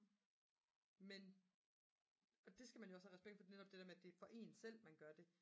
men og det skal man jo også have respekt for netop det der med at det jo er for en selv man gør det